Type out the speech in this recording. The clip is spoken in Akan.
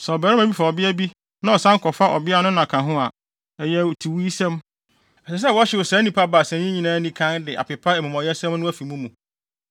“ ‘Sɛ ɔbarima bi fa ɔbea bi na ɔsan kɔfa ɔbea no na ka ho a, ɛyɛ atiwuisɛm. Ɛsɛ sɛ wɔhyew saa nnipa baasa yi nyinaa anikann de apepa amumɔyɛsɛm no afi mo mu.